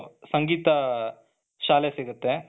ಸಂಗೀತ ಶಾಲೆ ಸಿಗುತ್ತೆ.